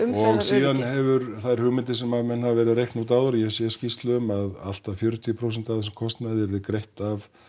og síðan hefur þær hugmyndir sem menn hafa verið að reikna út áður og ég hef séð skýrslur um allt að fjörutíu prósent af þessum kostnaði yrði greitt af